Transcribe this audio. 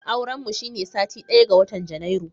Auren mu shine satin daya ga watan Janairu